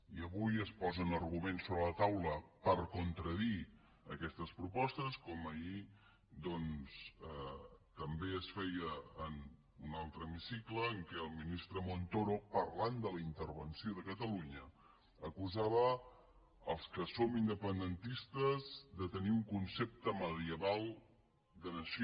i avui es posen arguments sobre la taula per contradir aquestes propostes com ahir també es feia en un altre hemicicle en què el ministre montoro parlant de la intervenció de catalunya acusava els que som independentistes de tenir un concepte medieval de nació